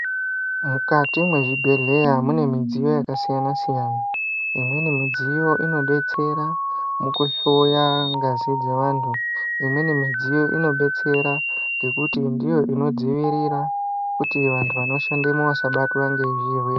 Mukati mezvibhedhleya mune midziyo yakasiyana siyana imweni midziyo inodetsera mukuhloya ngazi dzevantu imweni inodetsera ngekuti ndiyo inodzivirira kuti vantu vanoshandemo vasabatwa ngezvirwere.